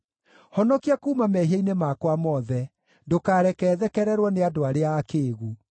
Honokia kuuma mehia-inĩ makwa mothe; ndũkareke thekererwo nĩ andũ arĩa akĩĩgu.